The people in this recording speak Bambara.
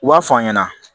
U b'a fɔ an ɲɛna